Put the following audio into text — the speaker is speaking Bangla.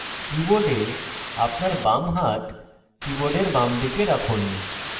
keyboard আপনার বাম হাত কীবোর্ডের বামদিকে রাখুন